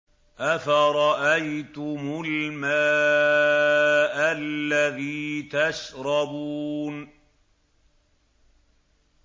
أَفَرَأَيْتُمُ الْمَاءَ الَّذِي تَشْرَبُونَ